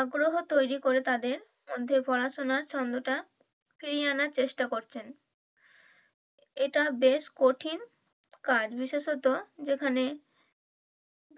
আগ্রহ তৈরি তাদের মধ্যে পড়াশুনার ছন্দটা ফিরিয়ে আনার চেষ্টা করছেন, এটা বেশ কঠিন কাজ বিশেষত যেখানে